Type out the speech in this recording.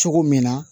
Cogo min na